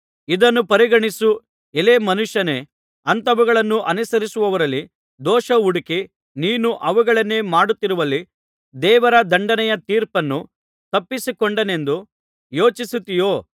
ಇದನ್ನು ಪರಿಗಣಿಸು ಎಲೈ ಮನುಷ್ಯನೇ ಅಂಥವುಗಳನ್ನು ಅನುಸರಿಸುವವರಲ್ಲಿ ದೋಷಹುಡುಕಿ ನೀನು ಅವುಗಳನ್ನೇ ಮಾಡುತ್ತಿರುವಲ್ಲಿ ದೇವರ ದಂಡನೆಯ ತೀರ್ಪನ್ನು ತಪ್ಪಿಸಿಕೊಂಡೇನೆಂದು ಯೋಚಿಸುತ್ತೀಯೋ